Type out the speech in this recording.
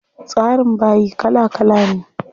Tsarin bayi kala kala ne.